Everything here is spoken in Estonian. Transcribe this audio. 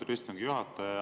Lugupeetud istungi juhataja!